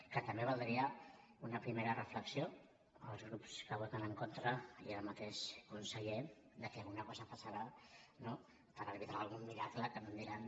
que també valdria una primera reflexió als grups que hi voten en contra i al mateix conseller que alguna cosa deu passar no per albirar algun miracle que no em diran